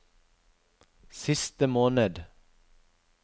siste måned